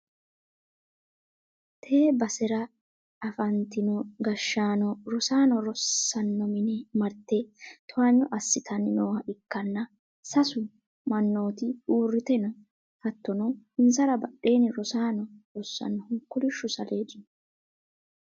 tee basera afantino gashshaano rosaano rossanno mine marte towaanyo assitanni nooha ikkanna, sasu mannooti uurrite no, hattono insara badheenni rosaano rossannohu kolishshu saleedi no.